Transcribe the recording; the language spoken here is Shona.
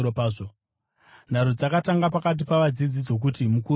Nharo dzakatanga pakati pavadzidzi dzokuti mukuru ndiani.